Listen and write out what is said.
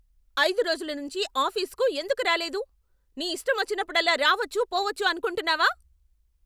ఐదు రోజుల నుంచి ఆఫీసుకు ఎందుకు రాలేదు? నీ ఇష్టమొచ్చినప్పుడల్లా రావచ్చు, పోవచ్చు అనుకుంటున్నావా?